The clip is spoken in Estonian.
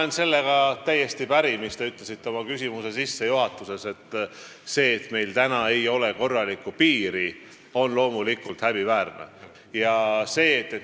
Ma olen täiesti päri sellega, mis te ütlesite oma küsimuse sissejuhatuses – see, et meil ei ole korralikku piiri, on loomulikult häbiväärne.